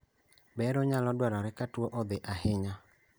Bero nyalo dwarore ka tuo odhi ahinya